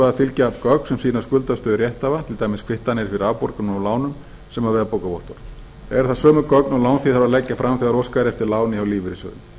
að fylgja öll gögn sem sýna skuldastöðu rétthafa til dæmis kvittanir fyrir afborgunum og lánum sem og veðbókarvottorð eru það sömu gögn og lánþegi þarf að leggja fram þegar óskað er eftir láni hjá lífeyrissjóði